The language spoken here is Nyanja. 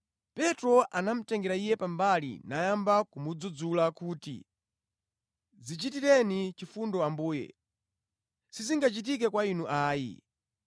Petro anamutengera Iye pambali nayamba kumudzudzula kuti, “Dzichitireni chifundo Ambuye, sizingachitike kwa Inu ayi.”